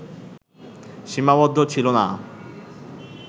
সীমাবদ্ধ ছিল না